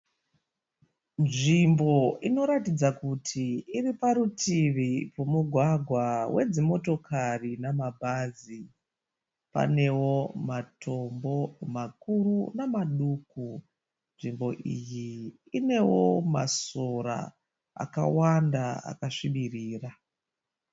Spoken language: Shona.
Nzvimbo inoratidza kuti iri parutivi rwemugwagwa wedzimotokari nama bhazi. Panewo matombo makuru namaduku. Nzvimbo iyi inewo masora akawanda akasvibirira.